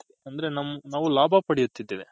ಅಂದ್ರೆ ಲಾಭ ಪಡಿತಿದ್ವಿ.